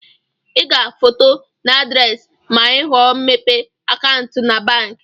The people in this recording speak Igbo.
ị ga-foto na adresi ma ịhọọ imepe akantụ na banki